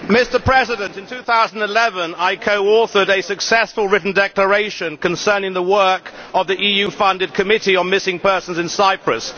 Mr President, in 2011 I co authored a successful written declaration concerning the work of the EU funded Committee on Missing Persons in Cyprus.